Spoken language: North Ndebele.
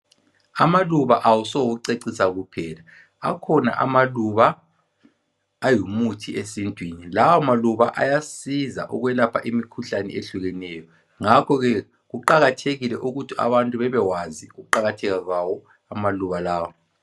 amaluba awaso oucecisa kuphela akhona amaluba angumuthi esintwini lawo maluba ayasiza ukwelapha imikhuhlane ehlukeneyo ngakho ke kuqakathekile ukuthi abantu babewazi ukuqakatheka kwawo amaluba lawa